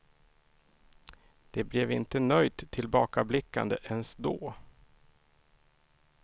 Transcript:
Det blev inte nöjt tillbakablickande ens då.